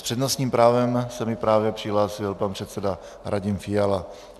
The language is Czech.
S přednostním právem se mi právě přihlásil pan předseda Radim Fiala.